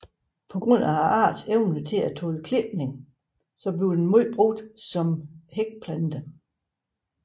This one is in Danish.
På grund af artens evne til at tåle klipning bliver den meget brugt som hækplante